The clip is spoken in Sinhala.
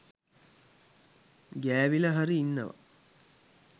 ගෑවිලා හරි ඉන්නවා.